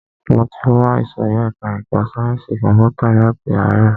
Mo ti wà ìsòrí ẹka ẹ̀kọ́ sáyẹnsì kọ̀mpútà láti ààrọ̀.